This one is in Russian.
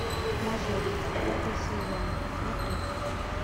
мажор первый сезон смотреть